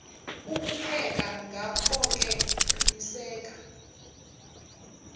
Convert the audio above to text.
ukupheka ngakhoke qiniseka